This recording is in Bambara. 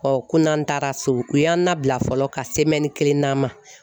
ko n'an taara so u y'an na bila fɔlɔ ka kelen d'a ma